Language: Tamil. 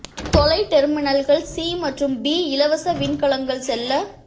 தொலை டெர்மினல்கள் சி மற்றும் பி இலவச விண்கலங்கள் செல்ல